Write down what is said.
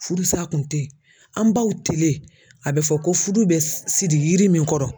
Furusa kun tɛ yen an baw tele a bɛ fɔ ko furu bɛ siri yiri min kɔrɔ